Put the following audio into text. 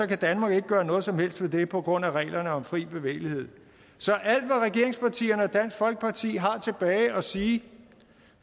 kan danmark ikke gøre noget som helst ved det på grund af reglerne om fri bevægelighed så alt hvad regeringspartierne og dansk folkeparti har tilbage at sige